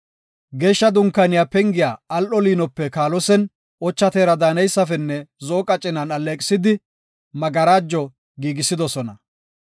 Geeshsha Dunkaaniya pengiyas al7o liinope kaalosen, ocha teera daaneysafenne zo7o qacinan alleeqisid magarajo giigisidosona.